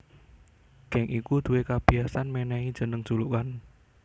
Geng iku duwé kabiyasan mènèhi jeneng julukan